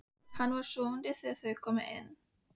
Hann var sofandi þegar þau komu inn.